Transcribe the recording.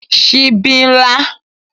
Sibí n lá